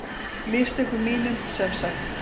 Mistökum mínum, sem sagt!